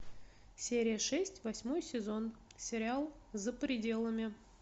серия шесть восьмой сезон сериал за пределами